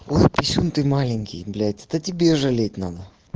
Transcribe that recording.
ой писюн ты маленький блять это тебе жалеть надо